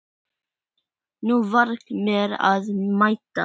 Nú var mér að mæta!